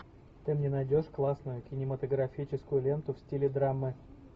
ты мне найдешь классную кинематографическую ленту в стиле драмы